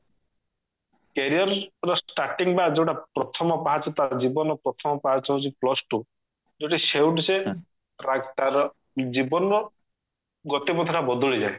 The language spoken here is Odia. career ର starting ବା ଯଉଟା ପ୍ରଥମ ପାହାଚ ତାର ଜୀବନର ପ୍ରଥମ ପାହାଚ ହଉଛି plus two ଯଉଠି ସେଉଠୁ ସେ track ତାର ଜୀବନର ଗତି ପଥ ଟା ବଦଳି ଯାଏ